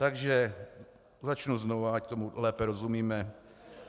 Takže začnu znova, ať tomu lépe rozumíme.